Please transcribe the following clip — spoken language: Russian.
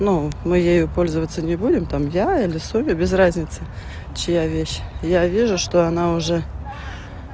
ну мы ей пользоваться не будем там я или соня без разницы чья вещь я вижу что она уже